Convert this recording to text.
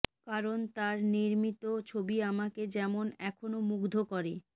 কারণ তার নির্মিত ছবি আমাকে যেমন এখনো মুগ্ধ করে